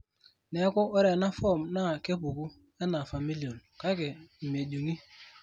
neeku, ore ena form naa kepuku enaa familial, kake ime jung'i.